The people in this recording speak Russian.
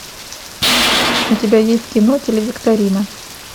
у тебя есть кино телевикторина